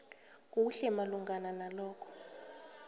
kuhle malungana nalokhu